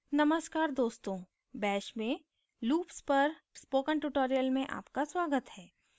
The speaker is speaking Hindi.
नमस्कार दोस्तों bash में loops पर spoken tutorial में आपका स्वागत है